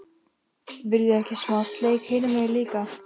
VILJIÐI EKKI SMÁ SLEIK HINUM MEGIN LÍKA!